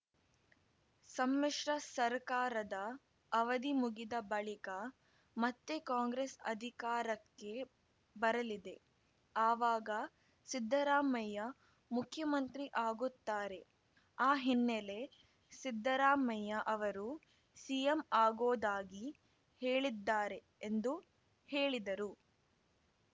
ಸಮ್ಮಿಶ್ರ ಸರ್ಕಾರದ ಅವಧಿ ಮುಗಿದ ಬಳಿಕ ಮತ್ತೆ ಕಾಂಗ್ರೆಸ್‌ ಅಧಿಕಾರಕ್ಕೆ ಬರಲಿದೆ ಆವಾಗ ಸಿದ್ದರಾಮಯ್ಯ ಮುಖ್ಯಮಂತ್ರಿ ಆಗುತ್ತಾರೆ ಆ ಹಿನ್ನೆಲೆ ಸಿದ್ದರಾಮಯ್ಯ ಅವರು ಸಿಎಂ ಆಗೋದಾಗಿ ಹೇಳಿದ್ದಾರೆ ಎಂದು ಹೇಳಿದರು